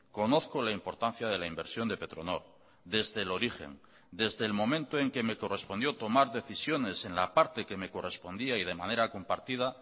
conozco la importancia de la inversión de petronor desde el origen desde el momento en que me correspondió tomar decisiones en la parte que me correspondía y de manera compartida